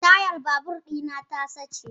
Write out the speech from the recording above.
Tayar babur ɗi na ta sace.